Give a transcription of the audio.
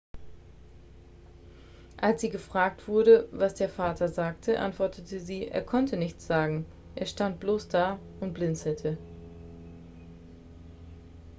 als sie gefragt wurde was der vater sagte antwortete sie er konnte nichts sagen er stand bloß da und blinzelte